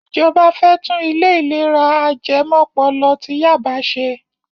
Ìjọba fẹ́ tún ilé ìlera ajẹmọ́pọlọ ti Yaba ṣe.